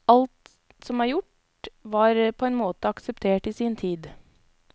Alt som er gjort, var på en måte akseptert i sin tid.